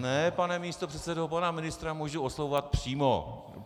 Ne, pane místopředsedo, pana ministra můžu oslovovat přímo!